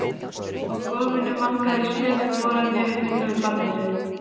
Á gólfinu vangaði stöku foreldri við fullorðið barn sitt.